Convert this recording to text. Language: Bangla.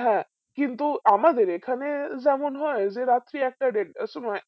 হ্যাঁ কিন্তু আমাদের এখানে যেমন হয় রাত্রি একটা দেড়টার সময়